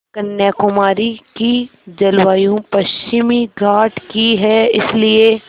कन्याकुमारी की जलवायु पश्चिमी घाट की है इसलिए